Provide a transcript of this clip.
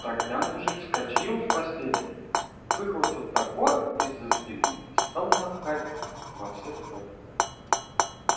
тогда мужик вскочил с постели выхватил топор из-за спины и стал махать во все стороны